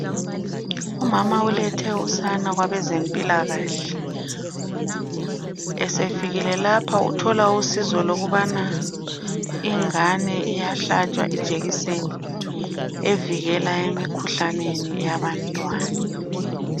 Umama ulethe usana kwabezempilakahle. Esefikile lapha uthola usizo lokubana ingane iyahlatshwa ijekiseni evikelayo emikhuhlaneni yabantwana.